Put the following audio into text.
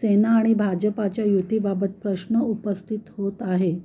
सेना आणि भाजपाच्या युतीबाबत प्रश्न उपस्थित होत आहे